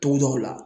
Togodaw la